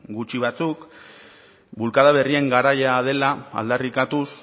gutxi batzuk bulkada berrien garaia dela aldarrikatuz